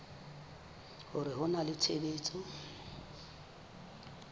hore ho na le tshebetso